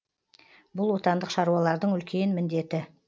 бұл отандық шаруалардың үлкен міндеті